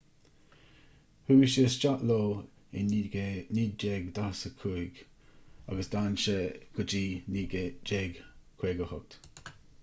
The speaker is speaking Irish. chuaigh sé isteach leo i 1945 agus d'fhan sé go dtí 1958